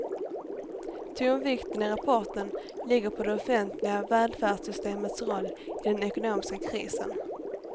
Tonvikten i rapporten ligger på de offentliga välfärdssystemens roll i den ekonomiska krisen.